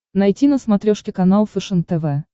найти на смотрешке канал фэшен тв